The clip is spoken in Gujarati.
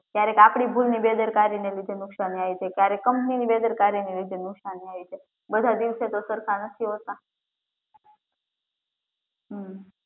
ક્યારેક આપડી ભૂલની બેદરકારી ને લીધે નુકસાન થાય છે ક્યારેક કંપની ની બેદરકારીને લીધે નુકસાન થાય છે બધાં દિવસો તો સરખા નથી હોતા હમ્મ